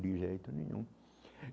De jeito nenhum.